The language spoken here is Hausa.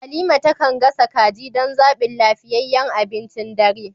Halima ta kan gasa kaji don zaɓin lafiyayyen abincin dare.